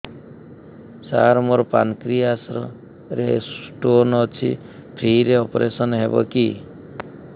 ସାର ମୋର ପାନକ୍ରିଆସ ରେ ସ୍ଟୋନ ଅଛି ଫ୍ରି ରେ ଅପେରସନ ହେବ କି